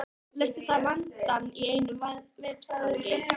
Leysti það vandann í einu vetfangi.